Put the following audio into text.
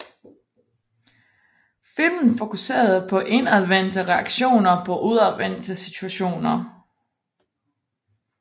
Filmen fokuserede på indadvendte reaktioner på udadvendte situationer